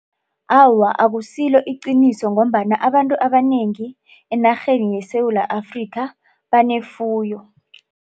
Awa, akusilo iqiniso ngombana abantu abanengi enarheni yeSewula Afrika banefuyo.